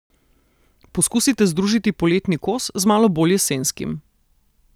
Poskusite združiti poletni kos z malo bolj jesenskim.